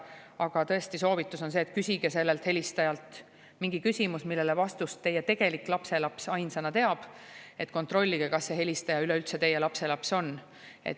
Aga tõesti, soovitus on see, et küsige sellelt helistajalt mingi küsimus, millele teab vastust ainsana teie tegelik lapselaps, et kontrollida, kas see helistaja üleüldse on teie lapselaps.